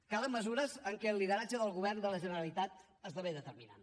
calen mesures en què el lideratge del govern de la generalitat esdevé determinant